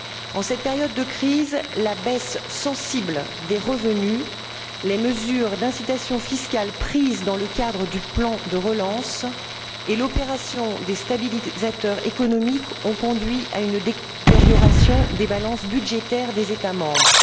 En cette période de crise, la baisse sensible des revenus, les mesures d'incitation fiscale prises dans le cadre du plan de relance et l'opération des stabilisateurs économiques ont conduit à une détérioration des balances budgétaires des États membres.